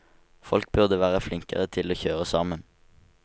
Folk burde være flinkere til å kjøre sammen.